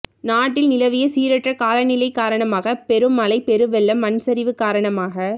நாட்டில் நிலவிய சீரற்ற காலநிலை காரணமாக பெருமழை பெருவெள்ளம் மண்சரிவு காரணமாக